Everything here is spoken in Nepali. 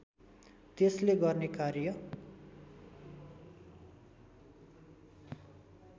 त्यसले गर्ने कार्य